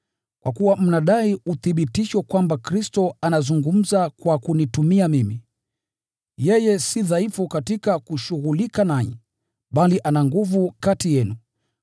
kwa kuwa mnadai uthibitisho kwamba Kristo anazungumza kwa kunitumia mimi. Yeye si dhaifu katika kushughulika nanyi, bali ana nguvu kati yenu.